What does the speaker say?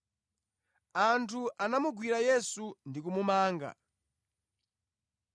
Anthu anamugwira Yesu ndi kumumanga.